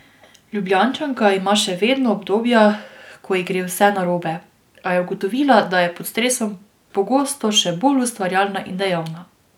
Ljubljančanka ima še vedno obdobja, ko ji gre vse narobe, a je ugotovila, da je pod stresom pogosto še bolj ustvarjalna in dejavna.